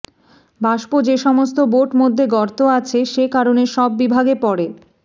বাষ্প যে সমস্ত বোট মধ্যে গর্ত আছে যে কারণে সব বিভাগে পড়ে